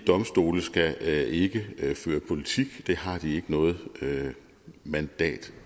domstole skal ikke føre politik det har de ikke noget mandat